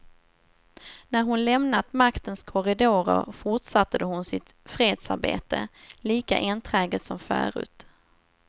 När hon lämnat maktens korridorer fortsatte hon sitt fredsarbete, lika enträget som förut.